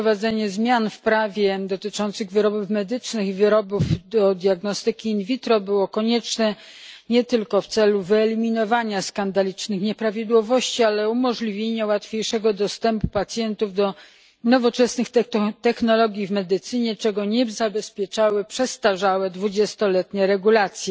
Wprowadzenie zmian w prawie dotyczącym wyrobów medycznych i wyrobów do diagnostyki in vitro było konieczne nie tylko w celu wyeliminowania skandalicznych nieprawidłowości, ale także umożliwienia łatwiejszego dostępu pacjentów do nowoczesnych technologii w medycynie, czego nie zabezpieczały przestarzałe dwudziestoletnie regulacje.